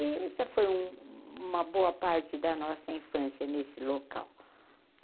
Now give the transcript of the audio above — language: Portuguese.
E essa foi um uma boa parte da nossa infância nesse local.